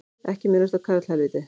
Ekki minnast á karlhelvítið